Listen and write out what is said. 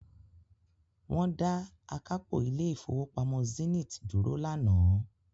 wọ́n dá akápò ilé Ìfowópamọ́ Zenith dúró lánàá.